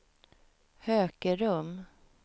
Hökerum